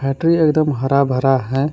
Tree एकदम हरा भरा है।